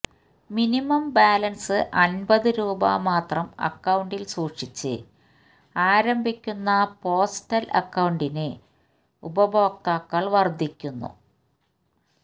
minimum balance അൻപത് രൂപമാത്രം അക്കൌണ്ടിൽ സൂക്ഷിച്ച് ആരംഭിക്കുന്ന പോസ്റ്റല് അക്കൌണ്ടിന് ഉപഭോക്താക്കള് വര്ദ്ധിക്കുന്നു